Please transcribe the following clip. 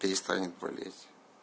перестанет болеть